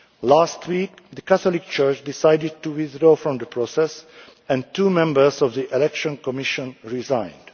Last week, the Catholic Church decided to withdraw from the process and two members of the Election Commission resigned.